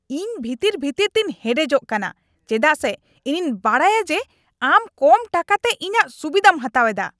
ᱤᱧ ᱵᱷᱤᱛᱤᱨ ᱵᱷᱤᱛᱤᱨ ᱛᱮᱧ ᱦᱮᱰᱮᱡᱚᱜ ᱠᱟᱱᱟ ᱪᱮᱫᱟᱜ ᱥᱮ ᱤᱧᱤᱧ ᱵᱟᱰᱟᱭᱟ ᱡᱮ ᱟᱢ ᱠᱚᱢ ᱴᱟᱠᱟᱛᱮ ᱤᱧᱟᱜ ᱥᱩᱵᱤᱫᱟᱢ ᱦᱟᱛᱟᱣ ᱮᱫᱟ ᱾